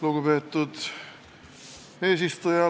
Lugupeetud eesistuja!